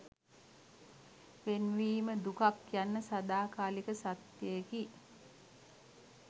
වෙන්වීම දුකක් යන්න සදාකාලික සත්‍යයකි